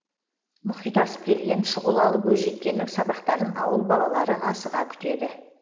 мұхит асып келген шұғылалы бойжеткеннің сабақтарын ауыл балалары асыға күтеді